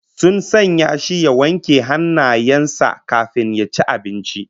Sun sanya shi ya wanke hannayen sa kafin ya ci abincin